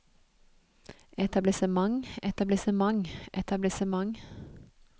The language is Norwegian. etablissement etablissement etablissement